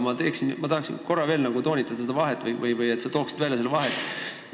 Aga tahan korra veel toonitada seda vahet ja palun, et sa tooksid välja, milles vahe seisneb.